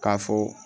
K'a fɔ